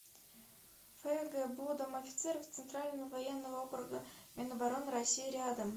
фгбу дом офицеров центрального военного округа минобороны россии рядом